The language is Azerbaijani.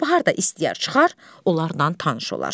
Gülbahar da istəyər çıxar, onlarla tanış olar.